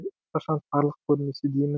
ешқашан тарлық көрмесе деймін